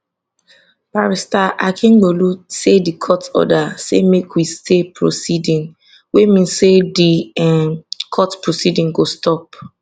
barrister akingbolu say di court order say make we stay proceeding wey mean say di um court proceedings go stop